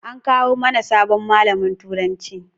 An kawo mana sabon malamin turanci